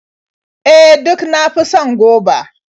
E, duk na fi son goba.